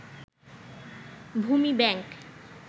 ভূমি ব্যাংক